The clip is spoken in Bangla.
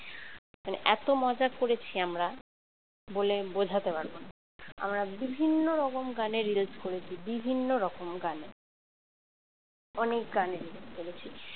মানে এত মজা করেছি আমরা বলে বোঝাতে পারবো না আমরা বিভিন্ন রকম গানে reels করেছি বিভিন্ন রকম গানে অনেক গানে reels করেছি